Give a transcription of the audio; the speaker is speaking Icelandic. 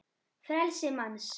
frelsi manns